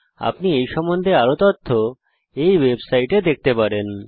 আপনি এই সম্বন্ধে আরও তথ্য এই ওয়েবসাইটে দেখতে পারেন